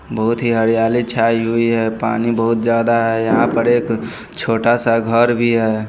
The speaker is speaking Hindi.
बहुत ही हरियाली छाई हुई है पानी बहुत ज्यादा है यहाँ पर एक छोटा सा घर भी है।